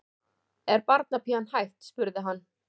Er barnapían hætt? spurði hann.